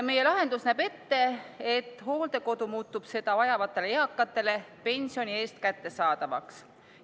Meie lahendus näeb ette, et hooldekodu muutub seda vajavatele eakatele pensioni eest kättesaadavaks.